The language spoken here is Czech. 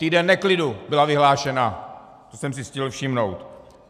Týden neklidu, byl vyhlášen, co jsem si stihl všimnout.